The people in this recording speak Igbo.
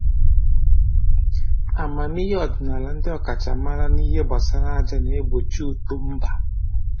Amamihe ọdịnaala ndị ọkachamara n'ihe gbasara aja na-egbochi uto mba